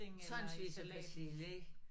Tonsvis af persille ik